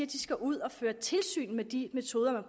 de skal ud og føre tilsyn med de metoder man